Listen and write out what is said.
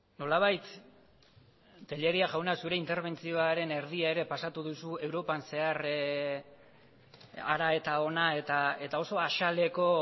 nolabait tellería jauna zure interbentzioaren erdia ere pasatu duzu europan zehar hara eta hona eta oso azaleko